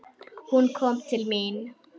Hún kom til mín.